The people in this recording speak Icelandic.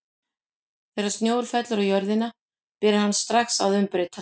Þegar snjór fellur á jörðina byrjar hann strax að umbreytast.